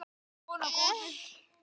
Svo verður vonandi áfram.